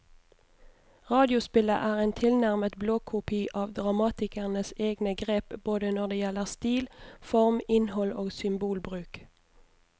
Radiospillet er en tilnærmet blåkopi av dramatikerens egne grep både når det gjelder stil, form, innhold og symbolbruk.